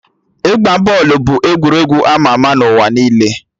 Ịgba bọọlụ bụ egwuregwu ama ama na ụwa niile